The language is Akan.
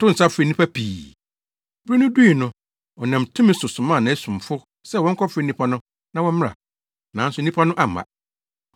Ɔtoo nsa frɛɛ nnipa pii. Bere no dui no, ɔnam tumi so somaa nʼasomfo sɛ wɔnkɔfrɛfrɛ nnipa no na wɔmmra. Nanso nnipa no amma.